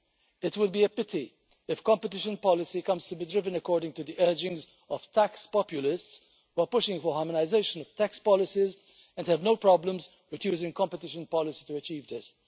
It will be a pity if competition policy comes to be driven according to the urgings of the tax populace while pushing for harmonisation of tax policies, and we have no problems with choosing competition policy to achieve this.